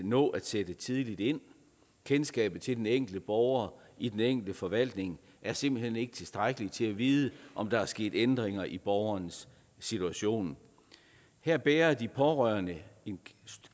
nå at sætte tidligt ind kendskabet til den enkelte borger i den enkelte forvaltning er simpelt hen ikke tilstrækkelig til at vide om der er sket ændringer i borgerens situation her bærer de pårørende en